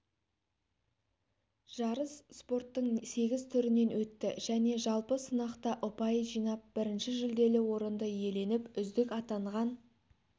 жарыс спорттың сегіз түрінен өтті және жалпы сынақта ұпай жинап бірінші жүлделі орынды иеленіп үздік атанған